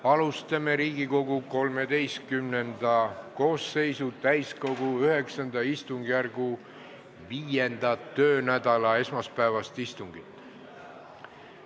Alustame Riigikogu XIII koosseisu täiskogu IX istungjärgu 5. töönädala esmaspäevast istungit.